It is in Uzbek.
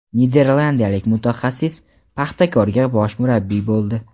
Niderlandiyalik mutaxassis "Paxtakor"ga bosh murabbiy bo‘ldi.